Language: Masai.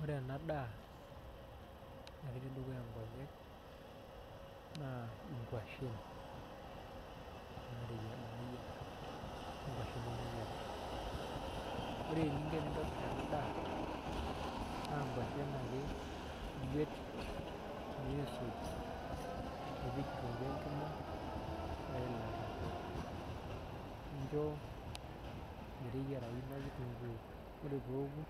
Ore ena daa natii dukuya inkonyek naa inkuashen naayiara onkuashen nemeyiara ore eninko tenintobir ena daa naa inkuashen ake iguet niisuj nipik kitunkuu enkima weilata nincho meteyiarayu ina kitunkuu ore peeku